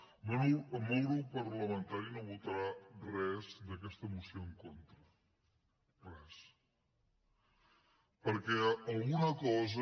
el meu grup parlamentari no votarà res d’aquesta mo·ció en contra res perquè alguna cosa